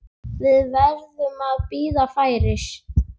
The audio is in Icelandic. Við verðum að bíða færis.